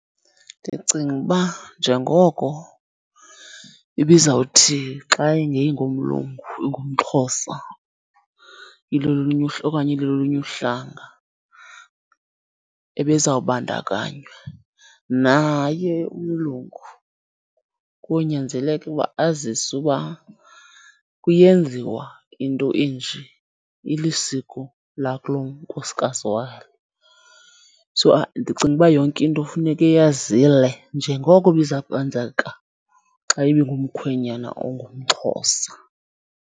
Ndicinga uba njengoko ibizawuthi xa ingengomlungu ingumXhosa, ilolunye okanye ilolunye uhlanga ebezawubandakanywa. Naye umlungu konyanzeleka uba aziswe uba kuyenziwa into enje ilisiko lakulonkosikazi walo. So, ndicinga uba yonke into funeka eyazile njengoko ibiza kwenzeka xa ibingumkhwenyana ongumXhosa.